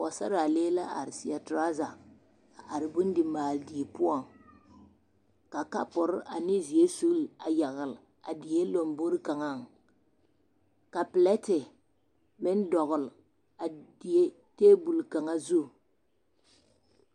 Pɔgesaraalee la are seɛ toraza a are bondi maale die poɔŋ ka kapore ane zeɛre sulli a yagele a die lombori kaŋaŋ ka pelɛte meŋ dɔgele a die teebol kaŋa zu.